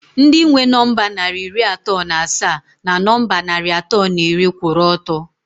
Ndị nwe nọmba narị iri atọ na asaa na nọmba narị atọ na iri kwụrụ ọtọ